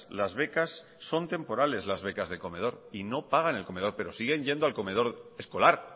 las becas son temporales las becas de comedor y no pagan el comedor pero siguen yendo al comedor escolar